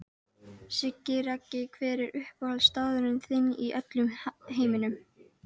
Siggi Raggi Hver er uppáhaldsstaðurinn þinn í öllum heiminum?